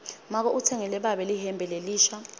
make utsengele babe lihembe lelisha